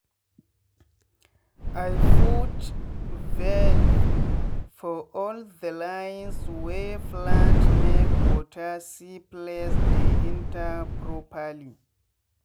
i put valve for all the lines wey plantmake water see place dey enter properly.